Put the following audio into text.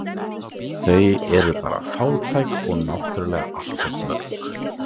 Þau eru bara fátæk og náttúrlega allt of mörg